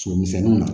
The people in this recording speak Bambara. Somisɛnnin na